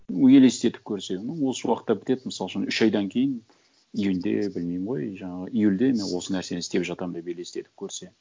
ну елестетіп көрсе ну осы уақытта бітеді мысал үшін үш айдан кейін июньде білмеймін ғой жаңағы июльде мен осы нәрсені істеп жатамын деп елестетіп көрсе